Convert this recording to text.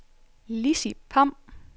Lissi Pham